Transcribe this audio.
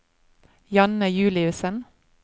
Janne Juliussen